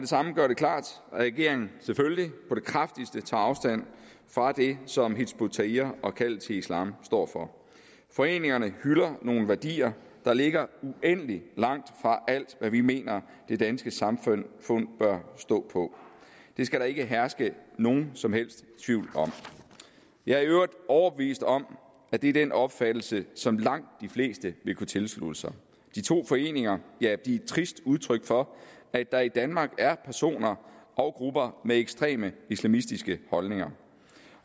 samme gøre det klart at regeringen selvfølgelig på det kraftigste tager afstand fra det som hizb ut tahrir og kaldet til islam står for foreningerne hylder nogle værdier der ligger uendelig langt fra alt hvad vi mener det danske samfund bør stå på det skal der ikke herske nogen som helst tvivl om jeg er i øvrigt overbevist om at det er den opfattelse som langt de fleste vil kunne tilslutte sig de to foreninger er et trist udtryk for at der i danmark er personer og grupper med ekstreme islamistiske holdninger